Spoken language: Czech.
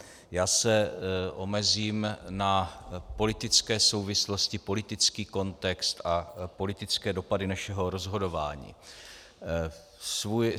Já se omezím na politické souvislosti, politicky kontext a politické dopady našeho rozhodování.